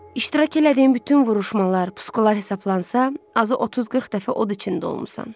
İştirak elədiyin bütün vuruşmalar, puskular hesablansa, azı 30-40 dəfə od içində olmusan.